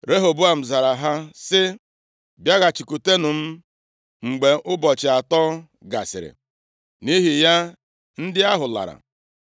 Rehoboam zara ha sị, “Bịaghachikwutenụ m mgbe ụbọchị atọ gasịrị.” Nʼihi ya ndị ahụ lara.